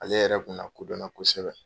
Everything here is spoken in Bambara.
Ale yɛrɛ kun nakodɔn na kosɛbɛ.